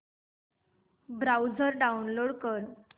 browser download कर